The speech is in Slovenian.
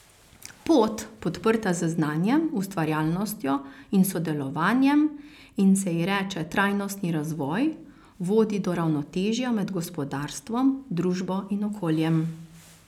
Pot, podprta z znanjem, ustvarjalnostjo in sodelovanjem in se ji reče trajnostni razvoj, vodi do ravnotežja med gospodarstvom, družbo in okoljem.